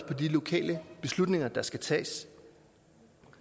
på de lokale beslutninger der skal tages